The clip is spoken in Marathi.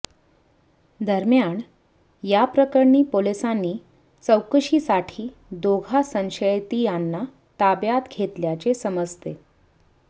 दरम्यान याप्रकरणी पोलिसांनी चौकशीसाठी दोघा संशयितांना ताब्यात घेतल्याचे समजते